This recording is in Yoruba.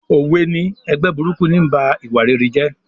Òwe ni "Ẹgbẹ́ burúkú ń ba ìwà rere jẹ́"